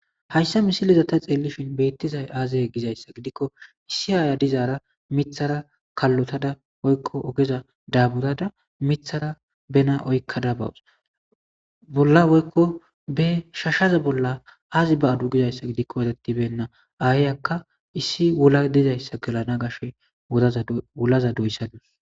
hayssa misileza ta xeelishin beettizay aazaye gizayssa gidikko issi aaya dizaara mithara kallotada oykko ogeza daaburada mithara bena oykka dabawus bolla woykko be shashaza bolla aazi ba7adu gizayssa gidikko wetettibenna aayayakka issi wula dizayssa gelana gashe wulaza doyssadus